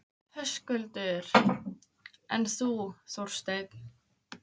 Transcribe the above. Höskuldur: En þú, Þorsteinn?